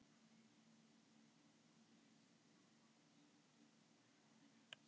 Þegar henni tókst að festa blund var hún óðar komin í sömu martröðina.